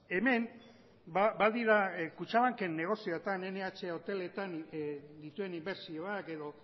hemen badira kutxabanken negozioetan nh hoteletan dituen inbertsioak edo